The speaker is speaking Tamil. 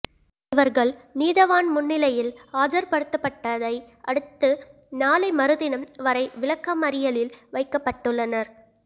இவர்கள் நீதவான் முன்னிலையில் ஆஜர்படுத்தப்பட்டதை அடுத்து நாளை மறுதினம் வரை விளக்கமறியலில் வைக்கப்பட்டுள்ளனர்